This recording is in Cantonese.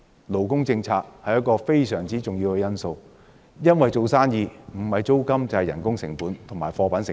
勞工政策是一個非常重要的因素，因為做生意不是要考慮租金，便是要考慮人工成本及貨品成本。